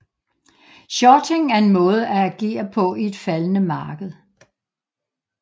Shorting er en måde at agere på i et faldende marked